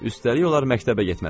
Üstəlik onlar məktəbə getməlidirlər.